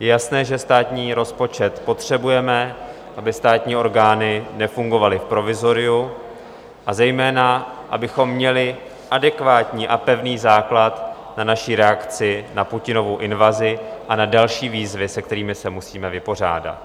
Je jasné, že státní rozpočet potřebujeme, aby státní orgány nefungovaly v provizoriu, a zejména abychom měli adekvátní a pevný základ na naši reakci na Putinovu invazi a na další výzvy, se kterými se musíme vypořádat.